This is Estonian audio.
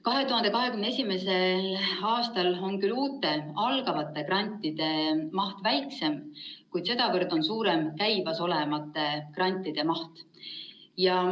2021. aastal on küll uute, algavate grantide maht väiksem, kuid sedavõrd on suurem käimasolevate grantide maht.